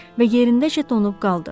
Və yerindəcə donub qaldı.